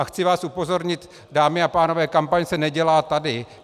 A chci vás upozornit, dámy a pánové, kampaň se nedělá tady.